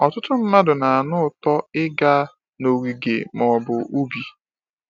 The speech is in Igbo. Ọtụtụ mmadụ na-anụ ụtọ ịga n’ogige ma ọ bụ ubi.